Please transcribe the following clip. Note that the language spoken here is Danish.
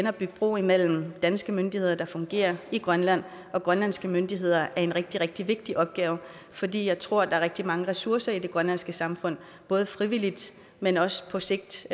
at bygge bro mellem danske myndigheder der fungerer i grønland og grønlandske myndigheder er en rigtig rigtig vigtig opgave fordi jeg tror der er rigtig mange ressourcer i det grønlandske samfund både frivillige men også på sigt